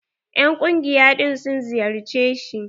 En ƙungiya ɗin sun ziyarce shi?